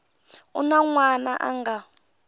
na un wana a nga